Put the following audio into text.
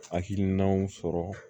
Hakilinaw sɔrɔ